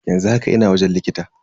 Yanzu haka ina wajen likita.